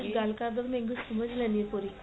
ਗੱਲ ਕਰਦੋ ਗੇ ਮੈਂ english ਸਮਝ ਲੈਂਦੀ ਆ ਥੋੜੀ